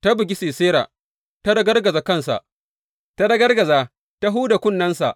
Ta bugi Sisera, ta ragargaza kansa, ta ragargaza ta huda kunnensa.